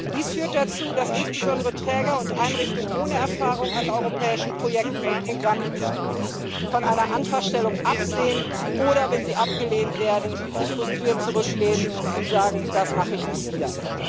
Dies führt dazu, dass insbesondere Träger und Einrichtungen ohne Erfahrung mit europäischen Projekten und Programmen von einer Antragstellung absehen, oder wenn sie abgelehnt werden, sich frustriert zurücklehnen und sagen Das mache ich nie wieder.